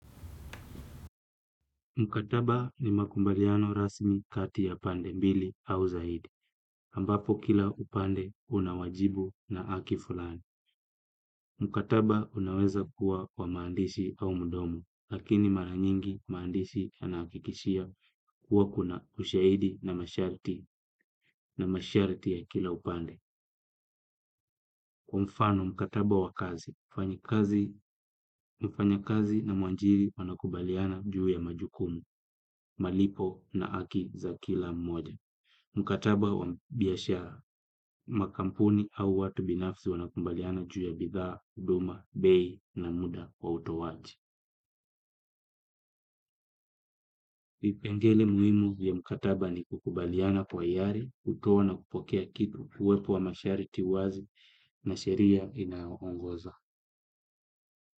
Mkataba ni makubaliano rasmi kati ya pande mbili au zaidi, ambapo kila upande una wajibu na haki fulani. Mkataba unaweza kuwa wa maandishi au mdomo, lakini mara nyingi maandishi yanahakikishia kuwa kuna ushahidi na masharti na masharti ya kila upande. Kwa mfano mkataba wa kazi, mfanyakazi na mwajiri wanakubaliana juu ya majukumu, malipo na haki za kila mmoja. Mkataba wa biashara makampuni au watu binafsi wanakubaliana juu ya bidhaa, huduma, bei na muda kwa utoaji vipengele muhimu vya mkataba ni kukubaliana kwa hiari, kutoa na kupokea kitu uwepo wa mashariti wazi na sheria inayoongoza.